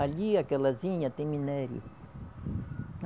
Ali, aquelazinha tem minério.